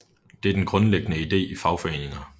Det er den grundlæggende ide i fagforeninger